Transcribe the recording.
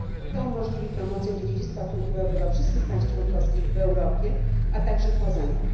To umożliwi promocję dziedzictwa kulturowego wszystkich państw członkowskich w Europie, a także poza nią.